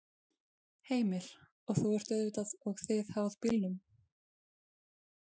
Heimir: Og þú ert auðvitað og þið háð bílnum?